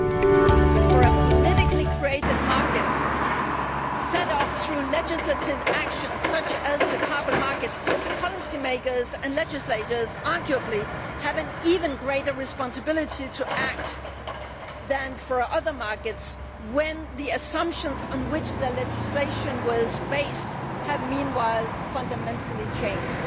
But in the case of a politically created market set up through legislative action, such as the carbon market, policy makers and legislators arguably have an even greater responsibility to act than in other markets if the assumptions on which their legislation was based have, meanwhile, fundamentally changed.